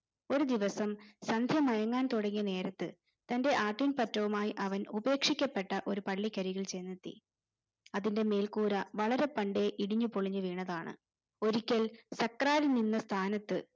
ഒരു ദിവസം സന്ധ്യ മയങ്ങാൻ തുടങ്ങിയ നേരത്ത് തന്റെ ആട്ടിൻപറ്റവുമായി അവൻ ഉപേക്ഷിക്കപ്പെട്ട ഒരു പള്ളിക്കരികിൽ ചെന്നെത്തി അതിന്റെ മേൽക്കൂര വളരെ പണ്ടേ ഇടിഞ്ഞു പൊളിഞ്ഞു വീണതാണ് ഒരിക്കൽ സാക്രാതി നിന്ന സ്ഥാനത്ത്